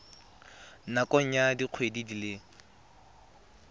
nakong ya dikgwedi di le